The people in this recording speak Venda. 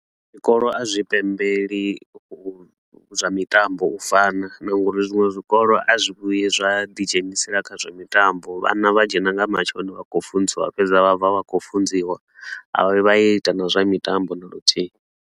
Zwikolo a zwi pembeli zwa mitambo u fana na ngori zwiṅwe zwikolo a zwi vhuyi zwa ḓi dzhenisela kha zwa mitambo, vhana vha dzhena nga matsheloni vha khou funziwa fhedzi, vha vhuya vha bva vha khou funziwa, a vha vha yo ita na zwa mitambo na luthihi.